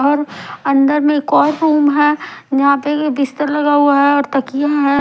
और अंदर में एक और रूम है जहां पे बिस्तर लगा हुआ है और तकिया है।